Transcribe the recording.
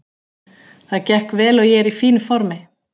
Það gekk vel og ég er í fínu formi.